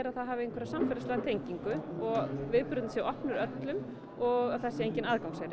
að það hafi einhverja samfélagslega tengingu og viðburðirnir séu opnir öllum og að það sé enginn